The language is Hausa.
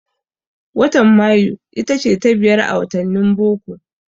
Watan Mayu itace ta biyar a wattanin boko.